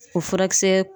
O furakisɛ